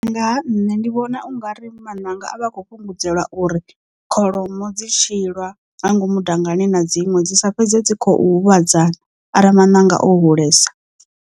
Nga ha nṋe ndi vhona u nga ri maṋanga a vha a khou fhungudzelwa uri kholomo dzi tshi lwa nga ngomu dangani na dziṅwe dzi sa fhedze dzi khou huvhadzana arali maṋanga o hulesa.